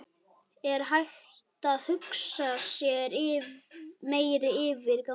Er hægt að hugsa sér meiri yfirgang?